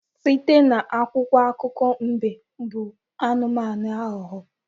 Site n'akwụkwọ akụkọ mbe bụ anụmanụ aghụghọ